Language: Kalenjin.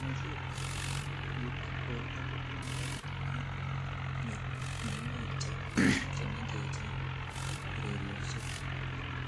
Kamueset ap akilit ak porto ko ki nepo kila ing mionwek che mengech ing urerioshek.